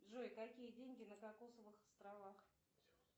джой какие деньги на кокосовых островах